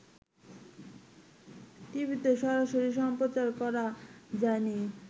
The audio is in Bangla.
টিভিতে সরাসরি সম্প্রচার করা যায়নি